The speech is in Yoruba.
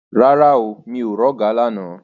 Rárá o, mi ò rí ọ̀gà lána.